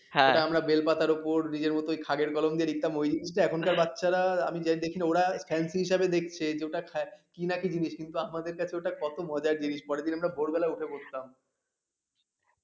যেটা আমরা বেল পাতার ওপর নিজের মতোই ওই খাগের কলম দিয়ে লিখতাম এটা এখনকার বাচ্চারা আমি দেখি না ওরা হেন্ডি হিসেবে দেখছে কি নাকি জিনিস কিন্তু আমাদের কাছে ওটা কত মজার জিনিস পরের দিন আমরা ভোরবেলা উঠে পড়তাম